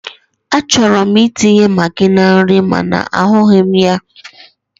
Achọrọ m itinye magi na nri mana ahụghị m ya.